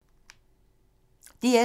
DR2